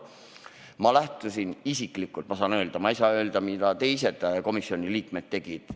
Ma saan lähtuda siin isiklikust kogemusest, ma ei saa öelda, mida teised komisjoni liikmed tegid.